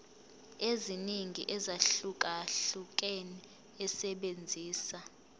eziningi ezahlukahlukene esebenzisa